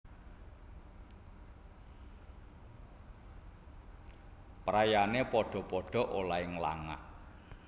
Praenane padha padha olehe nglangak